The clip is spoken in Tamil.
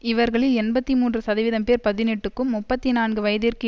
இவர்களில் எண்பத்தி மூன்று சதவீதம் பேர் பதினெட்டுக்கும் முப்பத்தி நான்கு வயதிற்கும்